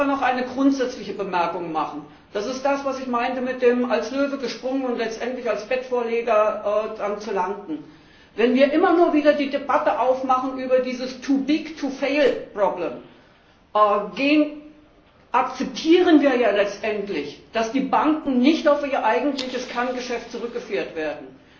Ich möchte aber noch eine grundsätzliche Bemerkung machen, und zwar dazu, was ich mit dem als Löwe gesprungen und letztendlich als Bettvorleger gelandet meinte Wenn wir immer wieder die Debatte aufmachen über dieses too big to fail Problem, akzeptieren wir ja letztendlich, dass die Banken nicht auf ihr eigentliches Kerngeschäft zurückgeführt werden.